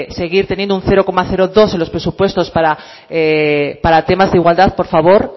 seguir teniendo un cero coma dos en los presupuestos para temas de igualdad por favor